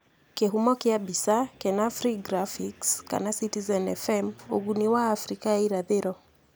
Kĩhumo kĩa mbica: Kenafri Graphics/Citizen FM Ũguni wa Abirika ya Irathĩro: